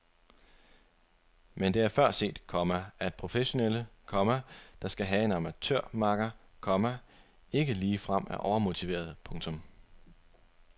Men det er før set, komma at professionelle, komma der skal have en amatørmakker, komma ikke ligefrem er overmotiverede. punktum